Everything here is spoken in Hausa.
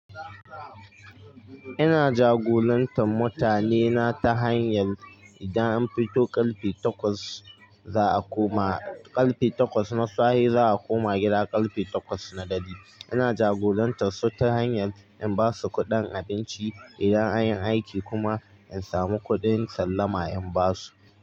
Ina jagorantar mutanena ta hanyar idan an fito ƙarfe takwas za a koma, ƙarfe takwas na safe za a koma gida ƙarfe takwas na dare. Ina jagorantar su ta hanyar in basu kuɗin abinci idan an yi aiki kuma in samu kuɗin sallama in basu.